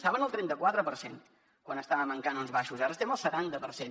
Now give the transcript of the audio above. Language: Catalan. estàvem al trenta quatre per cent quan estàvem en cànons baixos ara estem al setanta per cent